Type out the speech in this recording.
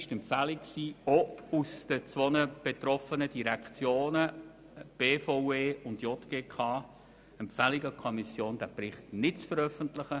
Es liegt eine Empfehlung der beiden betroffenen Direktionen BVE und JGK zuhanden der GPK vor, diesen Bericht nicht zu veröffentlichen.